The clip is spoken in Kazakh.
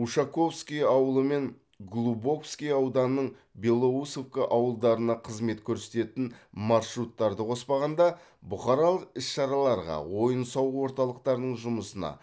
ушаковский ауылы мен глубоковский ауданының белоусовка ауылдарына қызмет көрсететін маршруттарды қоспағанда бұқаралық іс шараларға ойын сауық орталықтарының жұмысына